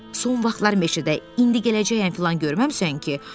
Son vaxtlar meşədə "indi gələcəyəm" filan görməmisən ki?